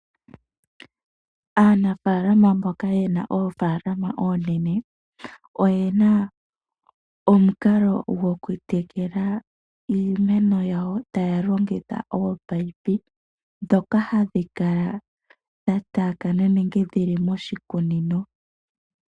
Aanafaalama mboka yena Oofalalama oonene oyena omukalo goku tekela iimeno yawo taya longitha ominino ndhoka hadhi kala dha taakana miimeno yawo.